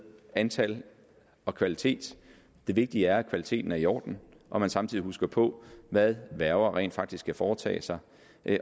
antal og kvalitet det vigtige er at kvaliteten er i orden og man samtidig husker på hvad værger rent faktisk skal foretage sig